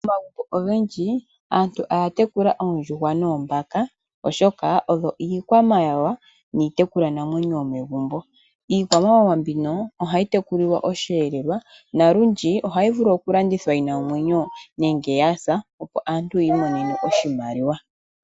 Momagumbo ogendji aantu ohaya tekula oondjuhwa noombaka oshoka odho iikwamawawa niitekulwanamwenyo yomegumbo. Iikwamawawa mbino ohayi tekulilwa osheelelwa . Olundji ohayi vulu okulandithwa yina omwenyo nenge yasa opo aantu yiimonenemo iimaliwa.